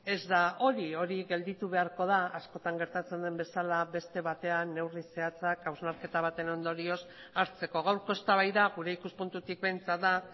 ez da hori hori gelditu beharko da askotan gertatzen den bezala beste batean neurri zehatzak hausnarketa baten ondorioz hartzeko gaurko eztabaida gure ikuspuntutik behintzat da